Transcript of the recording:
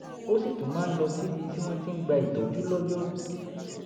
ó sì tún máa ń lọ síbi tí wọ́n ti ń gba ìtọ́jú lọ́jọ́ rú